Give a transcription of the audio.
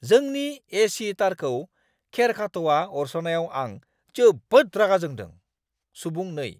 जोंनि ए/सि तारखौ खेरखाथ'आ अरस'नायाव आं जोबोद रागा जोंदों। (सुबुं 2)